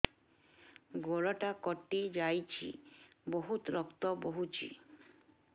ଗୋଡ଼ଟା କଟି ଯାଇଛି ବହୁତ ରକ୍ତ ବହୁଛି